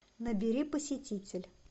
набери посетитель